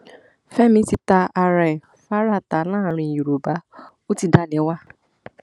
fẹmi ti ta ara ẹ faraata láàrin yorùbá ó ti dalẹ wá